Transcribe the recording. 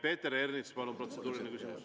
Peeter Ernits, palun, protseduuriline küsimus.